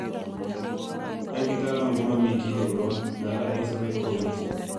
"Eng' kitaalamu komamii kiy ne korom, nganda eng sobet kobiti."